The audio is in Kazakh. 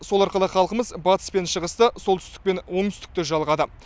сол арқылы халқымыз батыс пен шығысты солтүстік пен оңтсүтікті жалғады